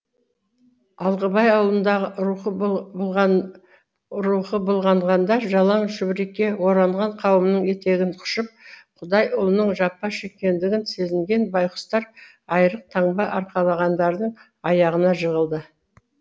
алғабай ауылындағы рухы былғанғандар жалаң шүберекке оранған қауымның етегін құшып құдай ұлының жапа шекендігін сезінген байқұстар айрық таңба арқалағандардың аяғына жығылды